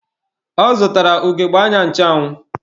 Ọ zụtara ugegbe anya ncheanwụ.